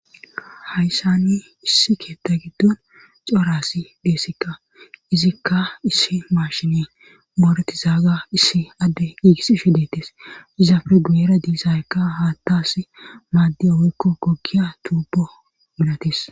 hayssani issi keetta giddon corasi deessikka izikka issi maashini mooreti zaaga issi adde giigissi shidettes izaafe guyera diisaykka haattas maadde hoykko gokiya tuubo minatis